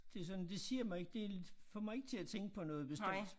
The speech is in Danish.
Det sådan det siger mig ikke det får mig ikke til at tænke på noget bestemt